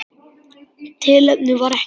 Tilefni var ekkert.